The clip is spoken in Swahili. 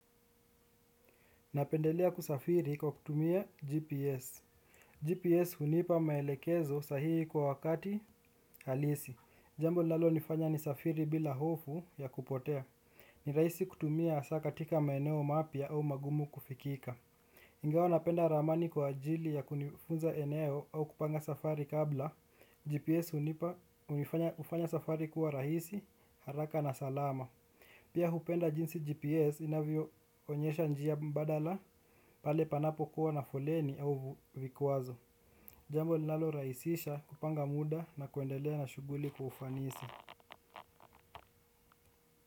Napendelea kusafiri kwa kutumia GPS GPS hunipa maelekezo sahihi kwa wakati halisi. Jambo linalonifanya nisafiri bila hofu ya kupotea. Ni raisi kutumia asa katika maeneo mapya au magumu kufikika ingawa napenda ramani kwa ajili ya kunifunza eneo au kupanga safari kabla GPS unipa ufanya safari kuwa rahisi haraka na salama. Pia hupenda jinsi GPS inavyoonyesha njia mbadala pale panapokuwa na foleni au vikwazo. Jambo linaloraisisha kupanga muda na kuendelea na shuguli kwa ufanisi.